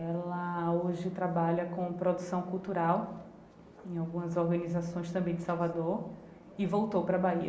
Ela hoje trabalha com produção cultural, em algumas organizações também de Salvador, e voltou para Bahia.